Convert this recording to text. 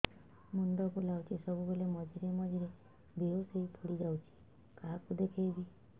ମୁଣ୍ଡ ବୁଲାଉଛି ସବୁବେଳେ ମଝିରେ ମଝିରେ ବେହୋସ ହେଇ ପଡିଯାଉଛି କାହାକୁ ଦେଖେଇବି